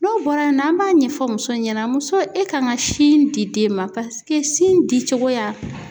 N'o bɔra yen nɔ, an b'a ɲɛfɔ musow ɲɛna muso e kan ka sin di den ma sin dicogoya